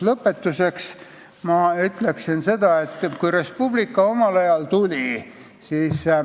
Lõpetuseks meenutan seda, kui Res Publica omal ajal tuli.